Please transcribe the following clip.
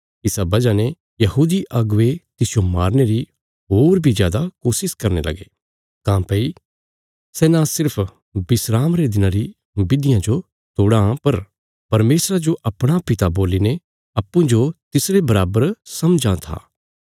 इसा बजह ने यहूदी अगुवे तिसजो मारने री होर बी जादा कोशिश करने लगे काँह्भई सै न सिर्फ विस्राम रे दिना री बिधिया जो तोड़ां पर परमेशरा जो अपणा पिता बोलीने अप्पूँजो तिसरे बराबर समझां था